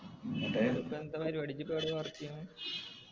ന്നിട്ട് ഇപ്പൊ എന്താ ഇജ്ജിപ്പോ എവിടെയാ work ചെയ്യന്ന്